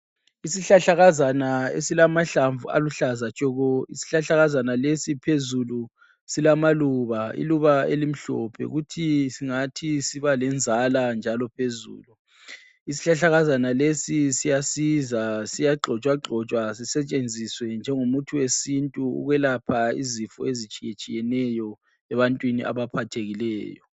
Isihlahlakazana esilamahlamvu aluhlaza tshoko. Isihlahlakazana lesi phezulu silamaluba, iluba elimhlophe. futhi singathi sibalenzala njalo phezulu. Isihlahlakazana lesi siyasiza siyagxotshwagxotshwa sisetshenziswe njengomuthi wesintu ukwelapha izifo ezitshiyatshiyeneyo ebantwini abaphathekileyo.